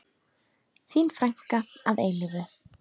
Þín frænka að eilífu.